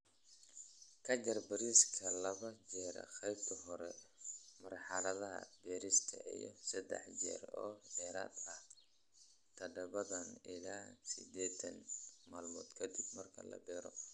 ka jar bariiska laba jeer qaybta hore marxaladha beerista iyo sadax jeer oo dheeraad aah tadabatan ila sideetan malmood kadib marka la beero.